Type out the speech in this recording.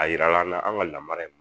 A yirala an na an ka lamara